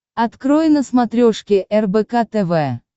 открой на смотрешке рбк тв